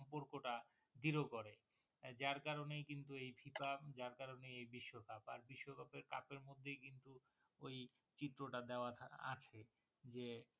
zero করে যার করণেই কিন্তু এই FIFA যার কারণেই এই বিশ্বকাপ আর বিশ্বকাপ cup এর মধ্যেই কিন্তু ওই চিত্রটা দেয়া থাক~ আছে যে